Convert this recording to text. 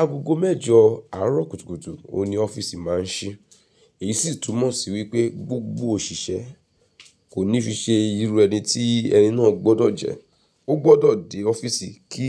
Agogo mẹ́jọ àárọ̀ kùtùkùtù òní ọ́fíìsì máa ṣí, èyí sì túmọ̀ sí wípé gbogbo òṣìṣẹ́ kò ní fi ṣe irú ẹni tí ẹni náà gbọ́dọ̀ jẹ́. Ó gbọ́dọ̀ dé ọ́fíìsì kí